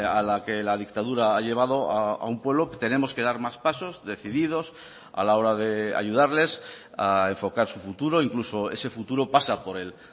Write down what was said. a la que la dictadura ha llevado a un pueblo tenemos que dar más pasos decididos a la hora de ayudarles a enfocar su futuro incluso ese futuro pasa por el